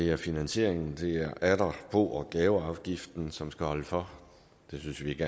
er finansieringen det er atter bo og gaveafgiften som skal holde for vi synes ikke